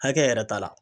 Hakɛ yɛrɛ ta la